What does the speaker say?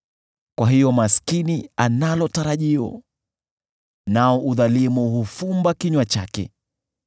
Kwa hiyo maskini analo tarajio, nao udhalimu hufumba kinywa chake.